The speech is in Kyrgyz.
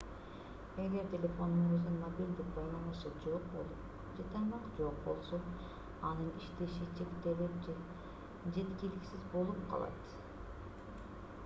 эгер телефонуңуздун мобилдик байланышы жок болуп же тармак жок болсо анын иштеши чектелип же жеткиликсиз болуп калат